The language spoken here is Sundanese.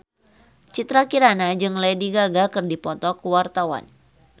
Citra Kirana jeung Lady Gaga keur dipoto ku wartawan